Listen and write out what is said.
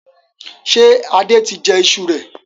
Ṣé Adé tí jẹ ìṣù rẹ?